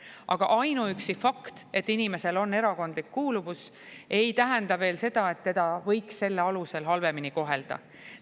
Aga ainuüksi fakt, et inimesel on erakondlik kuuluvus, ei tähenda veel seda, et teda võiks selle alusel halvemini kohelda.